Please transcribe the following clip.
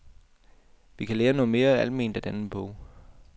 Vi kan lære noget mere alment af denne bog.